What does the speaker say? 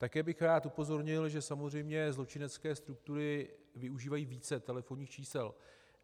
Také bych rád upozornil, že samozřejmě zločinecké struktury využívají více telefonních čísel.